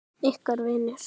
Ykkar vinir.